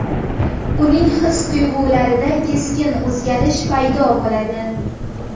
uning his-tuyg‘ularida keskin o‘zgarish paydo bo‘ladi.